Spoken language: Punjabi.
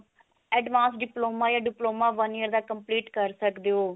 advance diploma ਯਾ diploma one year ਦਾ complete ਕਰ ਸਕਦੇ ਹੋ